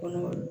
Kɔnɔ